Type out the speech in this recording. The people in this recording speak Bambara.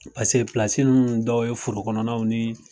dɔw ye foro kɔnɔnaw ni